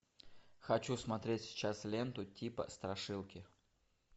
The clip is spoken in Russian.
хочу смотреть сейчас ленту типа страшилки